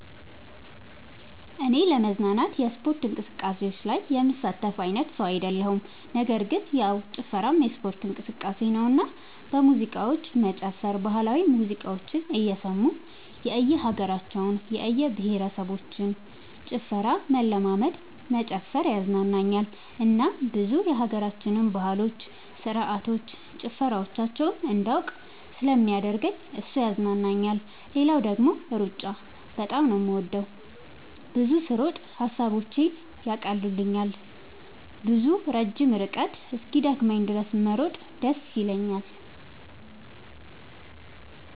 እኔ ለመዝናናት የስፖርት እንቅስቃሴዎች ላይ የምሳተፍ አይነት ሰው አይደለሁም ነገር ግን ያው ጭፈራም የስፖርት እንቅስቃሴ ነውና በሙዚቃዎች መጨፈር ባህላዊ ሙዚቃዎችን እየሰሙ የእየሀገራቸውን የእየብሄረሰቦችን ጭፈራ መለማመድ መጨፈር ያዝናናኛል እናም ብዙ የሀገራችንን ባህሎች ስርዓቶች ጭፈራዎቻቸውን እንዳውቅ ስለሚያደርገኝ እሱ ያዝናናኛል። ሌላው ደግሞ ሩጫ በጣም ነው የምወደው። ብዙ ስሮጥ ሐሳቦቼን ይቀሉልኛል። ብዙ ረጅም ርቀት እስኪደክመኝ ድረስ መሮጥ ደስ ይለኛል።